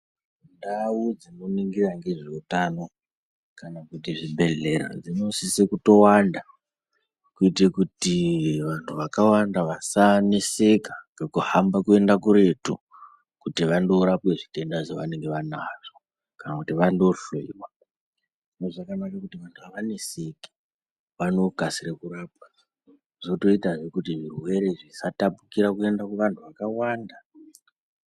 Ndau dzekuningira ngezveutano kana kuti zvibhelera zvinosiso. kutowanda kuitire kuti vanhu vakawanda vasaneseka nekuhamba kuenda kuretu kunorapwa zvitenda zvavanenge vanazvo kana kuno hloyiwa zvakanakira kuti vanhu havaneseki vanokasira kunorapwa zvotoitawo kuti zvirwere zvisatapurika kuvanhu vakawanda.